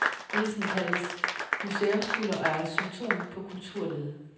Lidelsen kaldes museumskuller og er symptom på kulturlede.